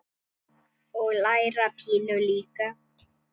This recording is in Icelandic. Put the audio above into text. Bryndís: Og læra pínu líka?